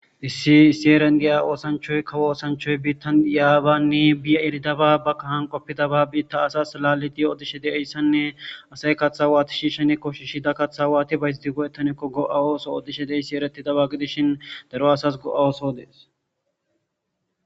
issi issi heran diya oosanchoy kawo osanchoy biittan yaabanne biya eridaba ba kahan qoppidaba biitta asas laalidiyo odishe deeyssanne asay katha waati shiishene koshishida kaththa waati bays di go7etanekko go7awooso oddishe deeyssi ereti daba gidishin daro asas go7awooso dees